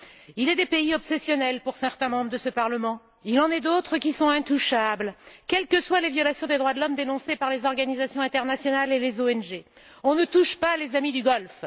Il est des pays qui obsèdent certains membres de ce Parlement. Il en est d'autres qui sont intouchables, quelles que soient les violations des droits de l'homme dénoncées par les organisations internationales et les ONG on ne touche pas les amis du Golfe.